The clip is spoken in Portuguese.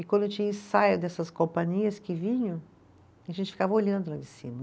E quando tinha ensaio dessas companhias que vinham, a gente ficava olhando lá de cima.